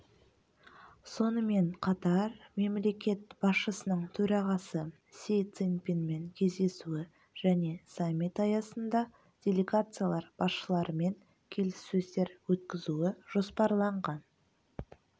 сонымен қатар мемлекет басшысының төрағасы си цзиньпинмен кездесуі және саммит аясында делегациялар басшыларымен келіссөздер өткізуі жоспарланған